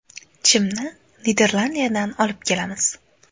Chimni Niderlandiyadan olib kelamiz.